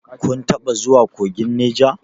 Kun taɓa zuwa kogin Neja?